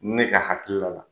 Ne ka hakilila la